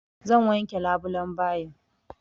Zan wanke labulan bayin.